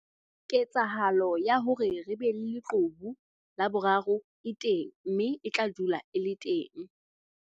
Ketsahalo ya hore re be le leqhubu la boraro e teng mme e tla dula e le teng.